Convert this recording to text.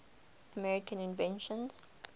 american inventions